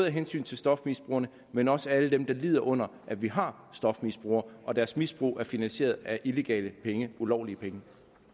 af hensyn til stofmisbrugerne men også alle dem der lider under at vi har stofmisbrugere og deres misbrug er finansieret af illegale penge ulovlige penge